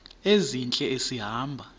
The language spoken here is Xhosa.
ezintle esi hamba